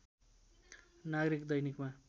नागरिक दैनिकमा